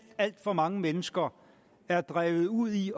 alt for mange mennesker er drevet ud i